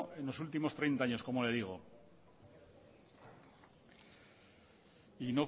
en los últimos treinta años como le digo y